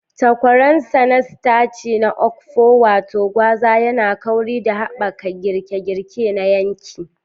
Takwaransa na sitaci na okpo, wato gwaza, yana kauri da haɓaka girke-girke na yanki.